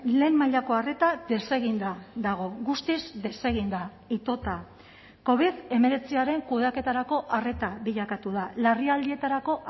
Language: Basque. lehen mailako arreta deseginda dago guztiz deseginda itota covid hemeretziaren kudeaketarako arreta bilakatu da larrialdietarako